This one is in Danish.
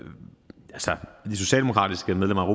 socialdemokratiske medlem af